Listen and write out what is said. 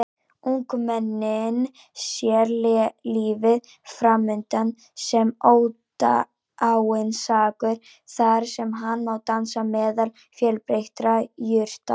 Ungmennið sér lífið framundan sem ódáinsakur þar sem hann má dansa meðal fjölbreyttra jurta.